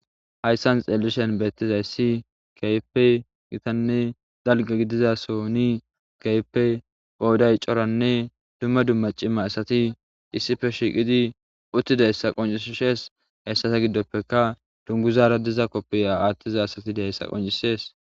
Hayssan xeellishen beettizayssi keype gitanne dalga gidiza so ni keype phouday coranne dumma dumma cima asati issife shiiqidi uttide hessa qoncishes hessata giddoppeka dunguzaara diza koppiya aathtiza asati dehessa qoncisees.